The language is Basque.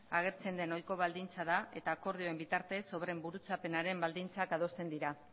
agertzen den ohiko baldintza da eta akordioen bitartez obren burutzapenaren baldintzak adosten dira